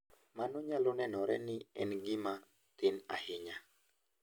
Mano nyalo nenore ni en gima thin ahinya.